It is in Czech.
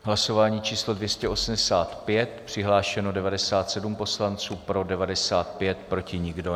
Hlasování číslo 285, přihlášeno 97 poslanců, pro 95, proti nikdo.